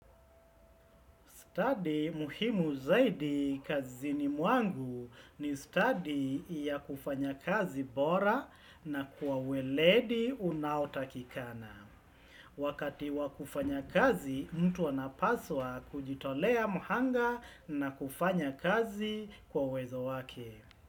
Study muhimu zaidi kazini mwangu ni study ya kufanya kazi bora na kwa uweledi unaotakikana. Wakati wa kufanya kazi, mtu wana paswa kujitolea muhanga na kufanya kazi kwa wezo wake.